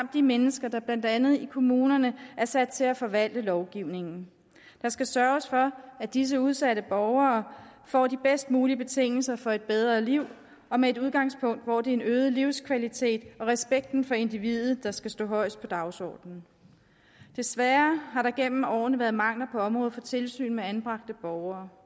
de mennesker der blandt andet i kommunerne er sat til at forvalte lovgivningen der skal sørges for at disse udsatte borgere får de bedst mulige betingelser for et bedre liv og med et udgangspunkt hvor det er øget livskvalitet og respekten for individet der skal stå højest på dagsordenen desværre har der igennem årene været mangler på området for tilsyn med anbragte borgere